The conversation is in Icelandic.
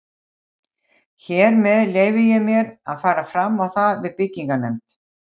Hér með leyfi ég mér, að fara fram á það við byggingarnefnd